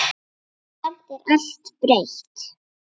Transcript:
Samt er allt breytt.